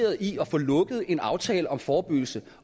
en aftale om forebyggelsen